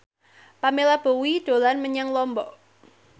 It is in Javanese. Pamela Bowie dolan menyang Lombok